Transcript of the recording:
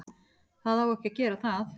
Það á ekki að gera það.